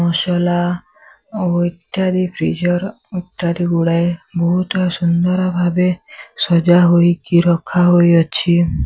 ମସଲା ଓ ଇତ୍ୟାଦି ଫ୍ରିଜର ଇତ୍ୟାଦି ଗୁଡ଼ାଏ ବହୁତ୍ ସୁନ୍ଦର ଭାବେ ସଜାହୋଇକି ରଖାହୋଇଅଛି।